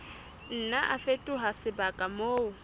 nna a fetoha sebaka moo